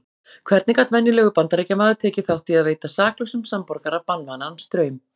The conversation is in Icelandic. Hvernig gat venjulegur Bandaríkjamaður tekið þátt í að veita saklausum samborgara banvænan straum?